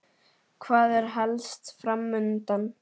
Hvað er helst fram undan?